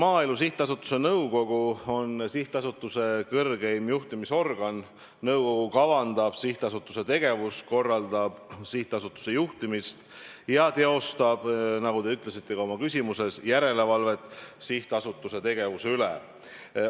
Maaelu Edendamise Sihtasutuse nõukogu on sihtasutuse kõrgeim juhtimisorgan, nõukogu kavandab sihtasutuse tegevust, korraldab sihtasutuse juhtimist ja teostab, nagu te ütlesite ka oma küsimuses, järelevalvet sihtasutuse tegevuse üle.